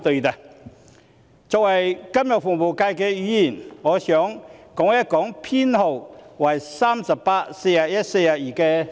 我作為金融服務界的議員，想談談修正案編號38、41及42。